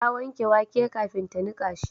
Ta wanke wake kafin ta nika shi